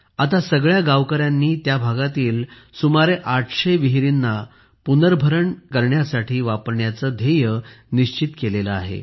आता सगळ्या गावकऱ्यांनी त्या भागातील सुमारे 800 विहिरींना पुनर्भरण करण्यासाठी वापरण्याचे लक्ष्य निश्चित केले आहे